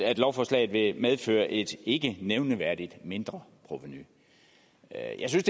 at lovforslaget vil medføre et ikke nævneværdigt mindreprovenu jeg synes